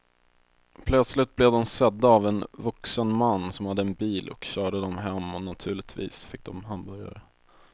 Plötsligt blev de sedda av en vuxen man som hade en bil och körde dem hem och naturligtvis fick de hamburgare.